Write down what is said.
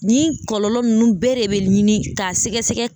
Nin kɔlɔlɔ ninnu bɛɛ de bɛ ɲini k'a sɛgɛsɛgɛ